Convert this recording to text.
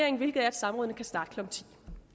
samråd